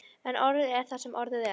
En orðið er það sem orðið er.